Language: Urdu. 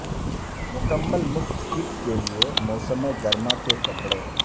مکمل مفت کٹ کے لئے موسم گرما کے کپڑے